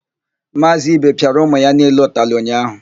Maazị ibe pịara ụmụ ya niile ụtalị ụnyaahụ.